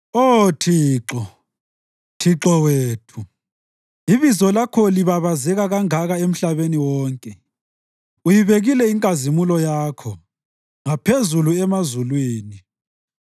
Oh Thixo, Thixo wethu, ibizo lakho libabazeka kangaka emhlabeni wonke! Uyibekile inkazimulo yakho ngaphezulu emazulwini.